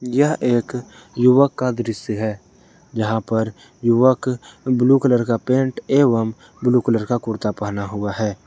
यह एक युवक का दृश्य है जहां पर युवक ब्ल्यू कलर का पेंट एवम् ब्ल्यू कलर का कुर्ता पहना हुआ है।